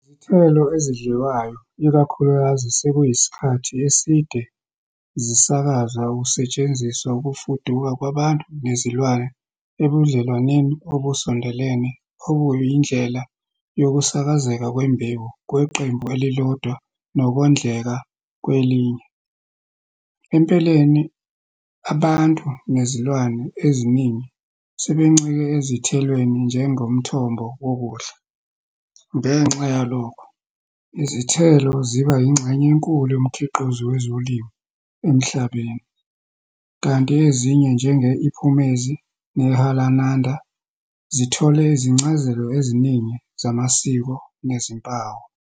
Izithelo ezidliwayo ikakhulukazi sekuyisikhathi eside zisakazwa kusetshenziswa ukufuduka kwabantu nezilwane ebudlelwaneni obusondelene obuyindlela yokusakazeka kwembewu kweqembu elilodwa nokondleka kwelinye empeleni, abantu nezilwane eziningi sebencike ezithelweni njengomthombo wokudla. Ngenxa yalokho, izithelo zibanga ingxenye enkulu yomkhiqizo wezolimo emhlabeni, kanti ezinye njenge-iphumezi nehalananda zithole izincazelo eziningi zamasiko nezimpawu.